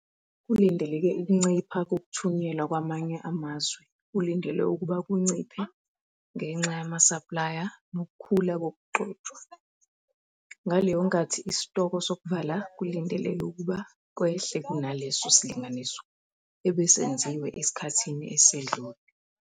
Kulindeleke ukuncipha kokuthunyelwa kwamanye amazwe kulindelwe ukuba kunciphe ngenxa yamasaplaya nokukhula kokugxotshwa, ngaleyo nkathi isitoko sokuvala kulindeleke ukuba kwehle kunaleso silinganiso ebesenziwe esikhathini esedlule.